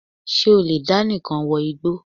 Ṣé o lè dá nìkan wọ igbó?